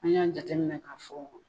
An y'a jateminɛ ka fɔ